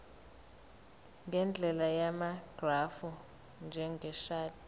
ngendlela yamagrafu njengeshadi